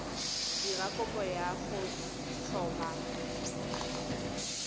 dira kopo ya go tlhoma